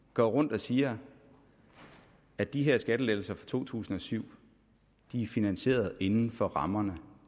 går rundt og siger at de her skattelettelser fra to tusind og syv er finansieret inden for rammerne